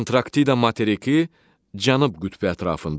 Antarktida materiki Cənub qütbü ətrafındadır.